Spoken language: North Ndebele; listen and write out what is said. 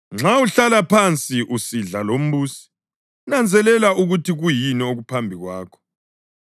Nxa uhlala phansi usidla lombusi, nanzelela ukuthi kuyini okuphambi kwakho,